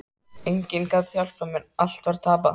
Enginn gat hjálpað mér, allt var tapað.